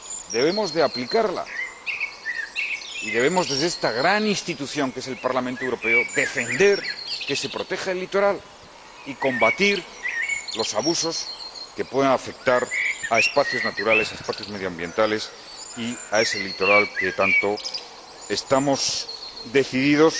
Debemos aplicarla. Y debemos, desde esta gran institución que es el Parlamento Europeo, defender que se proteja el litoral y combatir los abusos que puedan afectar a espacios naturales, espacios medioambientales y a ese litoral, que tanto estamos decididos